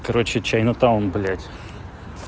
короче чайна-таун блядь